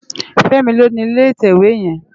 Femi ló ni ilé itèwé yèn